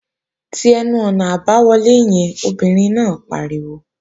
Ti ẹnu-ọ̀nà àbáwọlé yẹn, obìnrin náà pariwo!